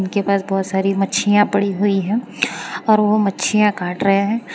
इनके पास बहुत सारी मच्छियां पड़ी हुई हैं और वो मच्छियां काट रहे हैं।